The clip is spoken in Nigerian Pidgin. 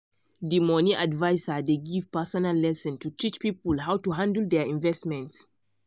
the money adviser dey give personal lesson to teach people how to handle their investment.